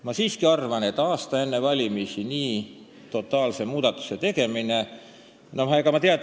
Ma siiski arvan, et aasta enne valimisi nii totaalse ja suure muudatuse tegemine ei ole hea ega mõistlik.